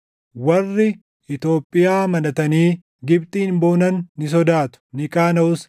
Warri Itoophiyaa amanatanii Gibxiin boonan ni sodaatu; ni qaanaʼus.